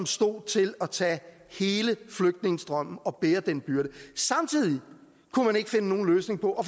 stod til at tage hele flygtningestrømmen og bære den byrde samtidig kunne man ikke finde nogen løsning på